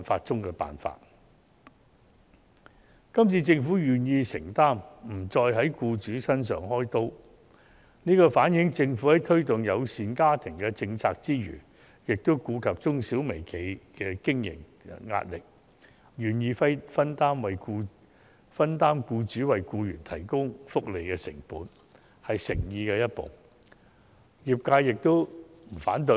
這次，政府願意作出承擔，不在僱主身上"開刀"，反映出政府在推動家庭友善政策之餘，亦顧及中小型企業和微型企業的經營壓力，願意分擔僱主為僱員提供福利的成本，是踏出誠意的一步，業界對此並不反對。